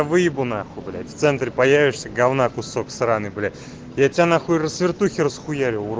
выебу нахуй блять в центре появишься говна кусок сраный бля я тебя нахуй с вертухи расхуярю урод